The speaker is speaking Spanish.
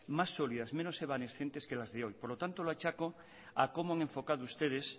más sólidas menos evanescentes que las de hoy por lo tanto lo achaco a cómo han enfocado ustedes